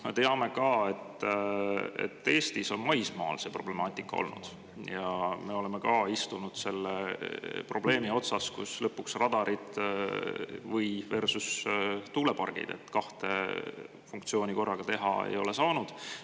Me teame ka, et Eestis on maismaal see problemaatika olnud, me oleme istunud selle probleemi otsas, kus lõpuks on radarid versus tuulepargid, kahte funktsiooni korraga teha ei ole saanud.